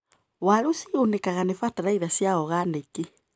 Waru cigunĩkaga nĩ bataraitha cia oganĩki.